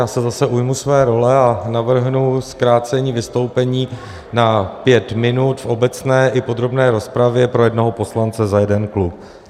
Já se zase ujmu své role a navrhnu zkrácení vystoupení na pět minut v obecné i podrobné rozpravě pro jednoho poslance za jeden klub.